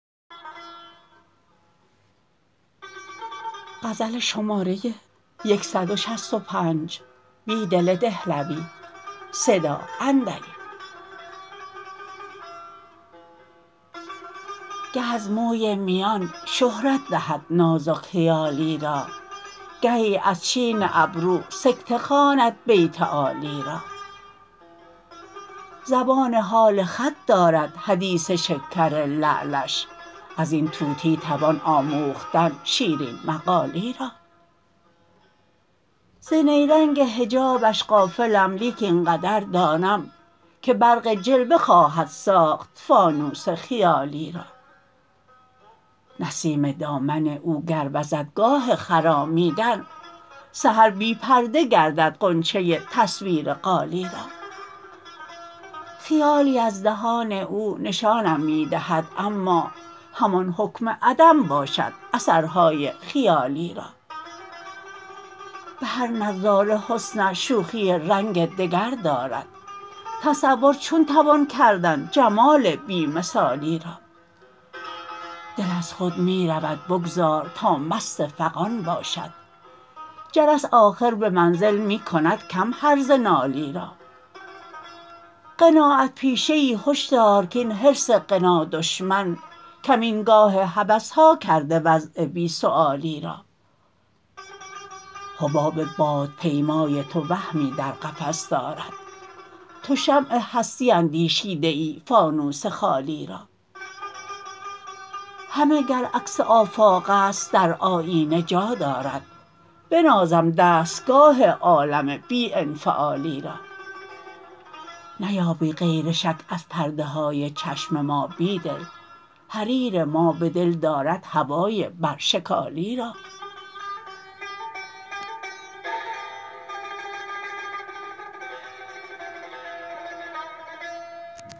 گه ازموی میان شهرت دهد نازک خیالی را گهی از چین ابرو سکته خواند بیت عالی را زبان حال خط دارد حدیث شکر لعلش ازین طوطی توان آموختن شیرین مقالی را ز نیرنگ حجابش غافلم لیک اینقدر دانم که برق جلوه خواهد ساخت فانوس خیالی را نسیم دامن اوگر وزد گاه خرامیدن سحر بی پرده گردد غنچه تصویر قالی را خیالی از دهان او نشانم می دهد اما همان حکم عدم باشد اثرهای خیالی را به هر نظاره حسنش شوخی رنگ دگردارد تصور چون توان کردن جمال بی مثالی را دل از خود می رود بگذارتا مست فغان باشد جرس آخر به منزل می کندکم هرزه نالی را قناعت پیشه ای هشدارکاین حرص غنادشمن کمینگاه هوسها کرده وضع بی سؤالی را حباب باد پیمای تو وهمی در قفس دارد توشمع هستی اندیشیده ای فانوس خالی را همه گر عکس آفاق است در آیینه جا دارد بنازم دستگاه عالم بی انفعالی را نیابی غیر شک از پرده های چشم ما بیدل حریر ما به دل دارد هوای برشکالی را